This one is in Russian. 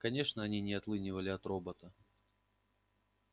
конечно они не отлынивали от робота